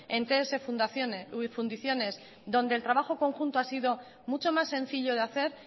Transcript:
en ts fundiciones donde el trabajo conjunto ha sido mucho más sencillo de hacer